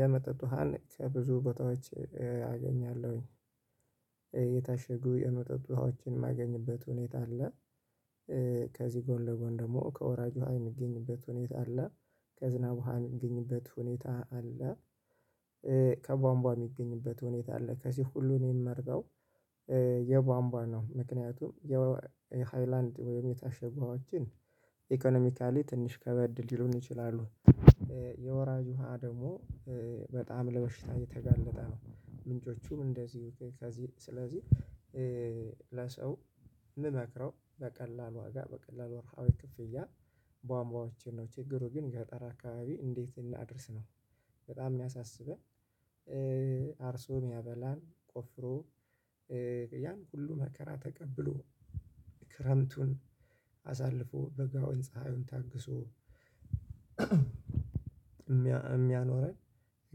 የመጠጥ ውሃን ከብዙ ቦታዎች አገኛለሁኝ። የታሸጉ የመጠጥ ውሃዎችን የማገኝበት ሁኔታ አለ""" ከዚህ ጎን ለጎን ደግሞ ከወራጅ ውሃ የሚገኝበት ሁኔታ አለ ከዝናብ ውሃ የሚገኝበት ሁኔታ አለ።""" ከቧንቧ የሚገኝበት ሁኔታ አለ፣ ከዚህ ሁሉ እኔ የምመርጠው""" የቧንቧ ነው። ምክንያቱም የሃይላንድ ወይም የታሸገ ውሃ ግን ኢኮኖሚካሊ ትንሽ ከበድ ሊሉን ይችላሉ።""" የወራጅ ውሃ ደግሞ በጣም ለበሽታ የተጋለጠ ነው፣ ምንጮቹም እንደዚሁ ከዚህ ስለዚህ"" የምመክረው በቀላል ዋጋ፣ በቀላል ዋርሃዊ ክፍያ ቧንቧወችን ነው፣ ችግሩ ግን ገጠር አካባቢ እንዴት እናድርስ ነው፣ በጣም የሚያሳስበን""" አርሶ የሚያበላን፣ ቆፍሮ፣ ያን ሁሉ መከራ ተቀብሎ፣ ክረምቱን አሳልፎ፣ በጋውን ፀሀዩን ታግሶ የሚያኖረን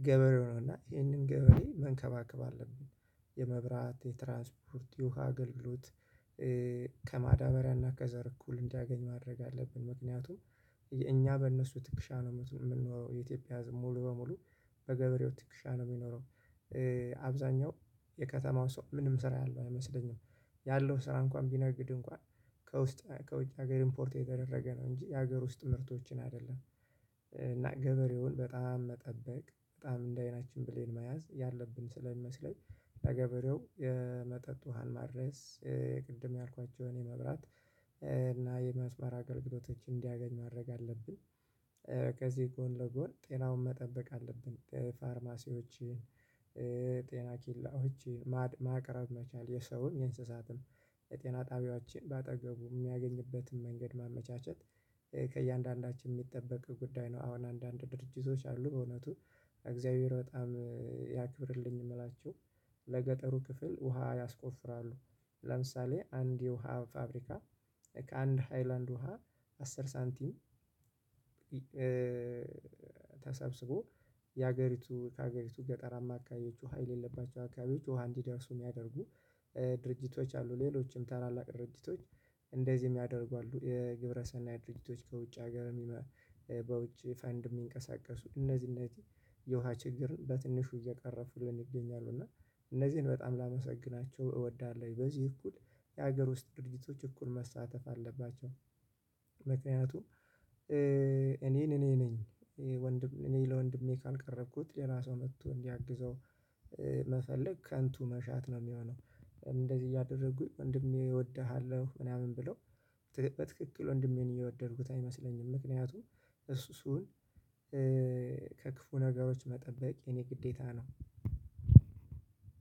ገበሬ ነው፣ እና ይህንን ገበሬ መንከባከብ አለብን። የመብራት፣ የትራንስፖርት፣ የውሃ ኣገልሎት ከማዳበሪያና ከዘር እኩል እንዲያገኝ ማድረግ አለብን፣ ምክንያቱም እኛ በእነሱ ትክሻ ነው የምንኖረው። የኢትዮጵያ ህዝብ ሙሉ በሙሉ በገበሬው ትክሻ ነው የሚኖረው። አብዛኛው የከተማው ሰው ምንም ስራ ያለው አይመስለኝም። ያለው ስራ እንኳን ቢነግድ እንኳን፣ ከውስጥና ከውጭ ሀገር ኢምፖርት የተደረገ ነው እንጂ የሀገር ውስጥ ምርቶችን አይደለም። እና ገበሬውን በጣም መጠበቅ፣ በጣም እንደ አይናችን ብሌን መያዝ ያለብን ስለሚመስለኝ ለገበሬው የመጠጥ ውሃን ማድረስ""" ቅድም ያልኳቸውን የመብራት እና የመስመር አገልግሎቶች እንዲያገኝ ማድረግ አለብን፣ ከዚህ ጎን ለጎን ጤናውን መጠበቅ አለብን። ፋርማሲዎችን""" ጤና ኬላዎችን ማቅረብ መቻል፣ የሰውን የእንስሳትን የጤና ጣቢያዎችን በአጠገቡ የሚያገኝበትን መንገድ ማመቻቸት""" ከእያንዳንዳችን የሚጠበቅ ጉዳይ ነው። አሁን አንዳንድ ድርጅቶች አሉ፣ በእውነቱ እግዚአብሔር በጣም ያክብርልኝ የምላችሁ፣ ለገጠሩ ክፍል ውሃ ያስቆፍራሉ። ለምሳሌ አንድ የውሃ ፋብሪካ፣ ከአንድ ሃይላንድ ውሃ አስር ሳንቲም ተሰብስቦ የሀገሪቱ፣ ከሀገሪቱ ገጠራማ ኣካባቢ ውሃ የሌለባቸው አካባቢዎች ውሃ እንዲደርሱ ሚያደርጉ ድርጅቶች አሉ፣ ሌሎችም ታላላቅ ድርጅቶች እንደዚህ የሚያደርጉ አሉ። የግብረሰናይ ድርጅቶች ከውጭ ሀገር""" በውጭ ፈንድ የሚንቀሳቀሱ፣ እነዚህ እነዚህ የውሃ ችግርን በትንሹ እየቀረፉልን ይገኛሉ፣ እና እነዚህን በጣም ላመሰግናቸው እወዳለሁ። በዚህ እኩል የሀገር ውስጥ ድርጊቶች እኩል መሳተፍ አለባቸው። ምክንያቱም እኔን እኔ ነኝ፣ እኔ ለወንድሜ ካልቀረብኩት ሌላ ሰው መጥቶ እንዲያግዘው መፈለግ፣ ከንቱ መሻት ነው የሚሆነው። እንደዚህ እያደረጉኝ ወንድሜ እወድሃለሁ፣ ምናምን ብለው""" በትክክል ወንድሜን እየወደድኩት አይመስለኝም፣ ምክንያቱም እንደ እሱ ስሆን""" ከክፉ ነገሮች መጠበቅ የእኔ ግዴታ ነው።